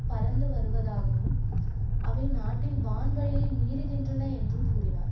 பறந்து வருவதாகவும் அவை நாட்டின் வான் வழியை மீறுகின்றன என்றும் கூறினார்